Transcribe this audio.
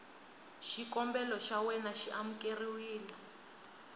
xikombelo xa wena xi amukeriwile